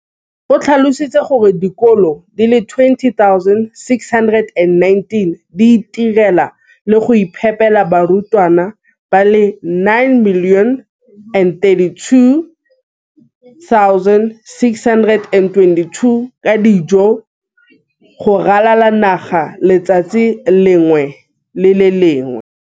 O tlhalositse gore dikolo di le 20 619 di itirela le go iphepela barutwana ba le 9 032 622 ka dijo go ralala naga letsatsi le lengwe le le lengwe.